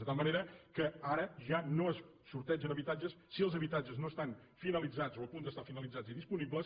de tal manera que ara ja no se sortegen habitatges si els habitatges no estan finalitzats o a punt d’estar finalitzats i disponibles